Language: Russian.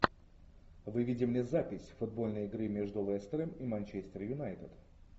выведи мне запись футбольной игры между лестером и манчестер юнайтед